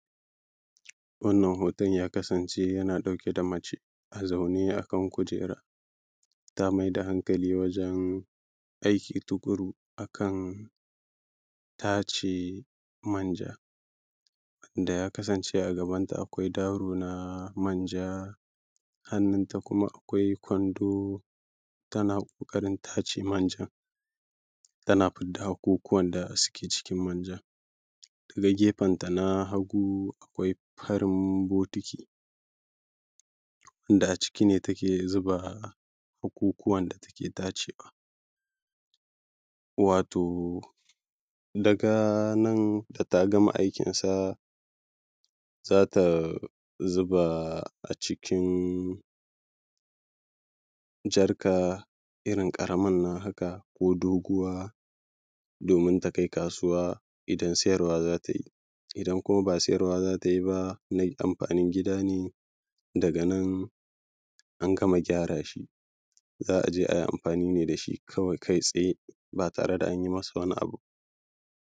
wannan hoton ya kasance yana ɗauke da mace a zaune a kan kujera ta mai da hankali wajen aiki tuƙuru a kan tace manja wanda ya kasance a gabanta akwai daro na manja hannunta kuma akwai kwando tana ƙoƙarin tace manjan tana fidda hakukuwan da suke cikin manjan daga gefenta na hagu akwai ɸarin botiki wanda a ciki ne take zuba hakukuwan da take tacewa wato daga nan da ta gama aikinsa za ta zuba a cikin jarka irin ƙaramin nan haka ko doguwa domin ta kai kasuwa idan siyarwa za ta yi idan kuma ba siyarwa za ta yi ba na amfanin gida ne daga nan an gama gyara shi za a je a yi amfani ne da shi kawai kai tsaye ba tare da an yi masa wani abu ba